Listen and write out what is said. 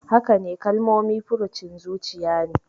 Hakane, Kalmomi furucin zuciya ne.